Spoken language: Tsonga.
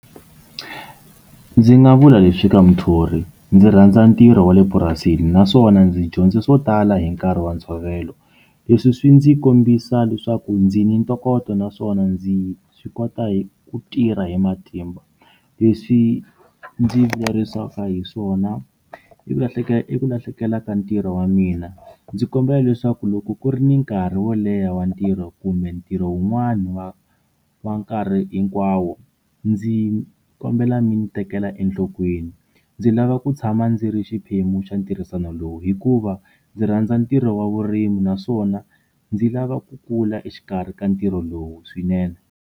Ndzi nga vula leswi ka muthori, ndzi rhandza ntirho wa le purasini naswona ndzi dyondze swo tala hi nkarhi wa ntshovelo leswi swi ndzi kombisa leswaku ndzi ni ntokoto naswona ndzi swi kota hi ku tirha hi matimba leswi ndzi vilerisaka hi swona i ku lahlekela i ku lahlekela ka ntirho wa mina ndzi kombela leswaku loko ku ri ni nkarhi wo leha wa ntirho kumbe ntirho wun'wani wa wa nkarhi hinkwawo ndzi kombela mi ni tekela enhlokweni ndzi lava ku tshama ndzi ri xiphemu xa ntirhisano lowu hikuva ndzi rhandza ntirho wa vurimi naswona ndzi lava ku kula exikarhi ka ntirho lowu swinene.